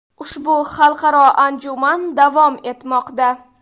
Ushbu xalqaro anjuman davom etmoqda.